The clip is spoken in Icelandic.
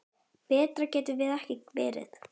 Betra gat það ekki verið.